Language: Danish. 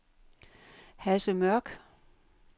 Hasse Mørck